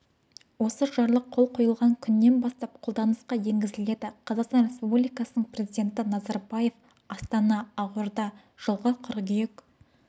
осы жарлық қол қойылған күнінен бастап қолданысқа енгізіледі қазақстан республикасының президенті назарбаев астана ақорда жылғы қыркүйек